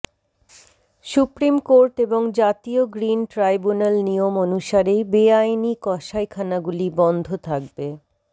supreme court এবং জাতীয় green tribunal নিয়ম অনুসারেই বেআইনি কষাইখানাগুলি বন্ধ থাকবে